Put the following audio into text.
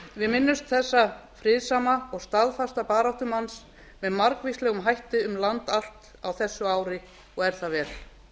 við minnumst þessa friðsama og staðfasta baráttumanns með margvíslegum hætti um land allt á þessu ári og er það vel